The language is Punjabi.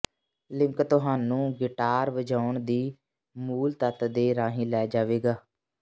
ਲਿੰਕ ਤੁਹਾਨੂੰ ਗਿਟਾਰ ਵਜਾਉਣ ਦੀ ਮੂਲ ਤੱਤ ਦੇ ਰਾਹੀਂ ਲੈ ਜਾਵੇਗਾ